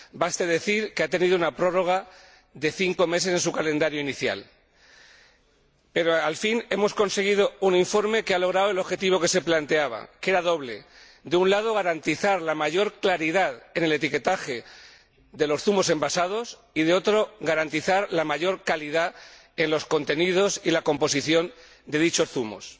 baste decir que ha tenido una prórroga de cinco meses en su calendario inicial. Pero al fin hemos conseguido un informe que ha logrado el objetivo que se planteaba, que era doble de un lado, garantizar la mayor claridad en el etiquetaje de los zumos envasados y, de otro, garantizar la mayor calidad en los contenidos y la composición de dichos zumos.